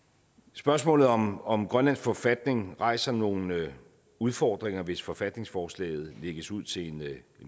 spørgsmålet om om grønlands forfatning rejser nogle udfordringer hvis forfatningsforslaget lægges ud til en